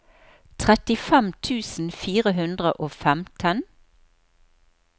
trettifem tusen fire hundre og femten